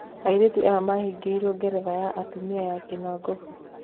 Airĩtu aya mahigeiruo geretha ya atumia ya kinagofu